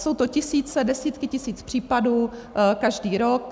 Jsou to tisíce, desítky tisíc případů každý rok.